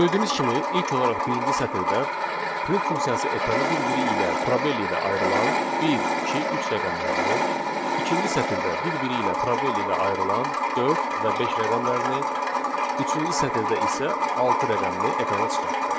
Gördüyünüz kimi ilk olaraq birinci sətirdə print funksiyası ekrana bir-biri ilə probel ilə ayrılan bir, iki, üç rəqəmlərini, ikinci sətirdə bir-biri ilə probel ilə ayrılan dörd və beş rəqəmlərini, üçüncü sətirdə isə altı rəqəmini ekrana çıxartdı.